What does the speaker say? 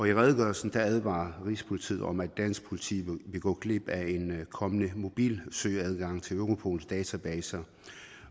i redegørelsen advarer rigspolitiet om at dansk politi vil gå glip af en kommende mobil søgeadgang til europols databaser